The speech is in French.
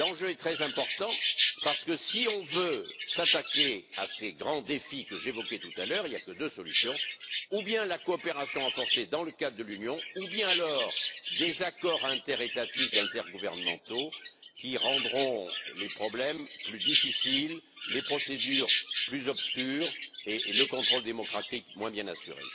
L'enjeu est très important parce que si on veut s'attaquer à ces grands défis que j'évoquais tout à l'heure, il n'y a que deux solutions ou bien la coopération renforcée dans le cadre de l'Union, ou bien alors des accords interétatiques, intergouvernementaux qui rendront les problèmes plus difficiles, les procédures plus obscures et le contrôle démocratique moins bien assuré.